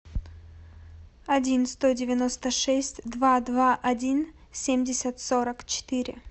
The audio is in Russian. один сто девяносто шесть два два один семьдесят сорок четыре